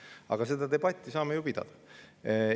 Aga seda debatti saame ju pidada.